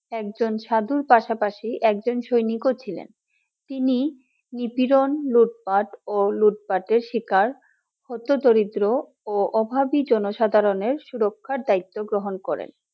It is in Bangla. একজন সাধুর পাশাপাশি একজন সৈনিক ছিলেন। তিনি নিপীড়ন লুটপাট ও লুটপাটের শিকার হত দরিদ্র ও অভাবী জনসাধারণের সুরক্ষার দায়িত্ব গ্রহণ করেন